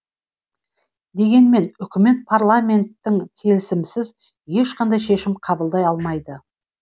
дегенмен үкімет парламенттің келісімінсіз ешқандай шешім қабылдай алмайды